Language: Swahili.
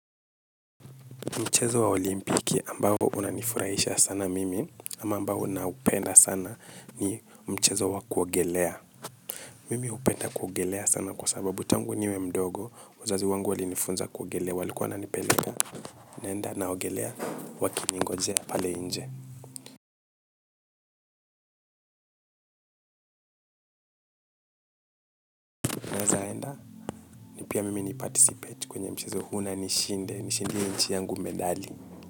Mchezo wa olimpiki ambayo unanifurahisha sana mimi ama ambayo ninaoupenda sana ni mchezo wa kuogelea. Mimi hupenda kuogelea sana kwa sababu tangu niwe mdogo, wazazi wangu walinifunza kuogelea, walikuwa wananipeleka, naenda na ogelea, wakinigojea pale nje. Ni pia mimi ni participate kwenye mchezo huu na nishinde, nishindie nchi yangu medali.